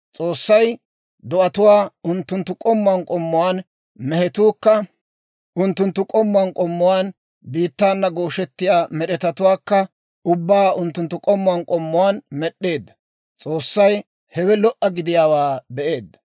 S'oossay do'atuwaa unttunttu k'ommuwaan k'ommuwaan, mehetuukka unttunttu k'ommuwaan k'ommuwaan, biittaana gooshettiyaa med'etatuwaakka ubbaa unttunttu k'ommuwaan k'ommuwaan med'd'eedda. S'oossay hewe lo"a gidiyaawaa be'eedda.